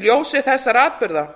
í ljósi þessara atburða